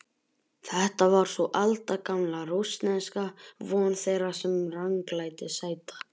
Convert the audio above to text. Þetta var sú aldagamla rússneska von þeirra sem ranglæti sæta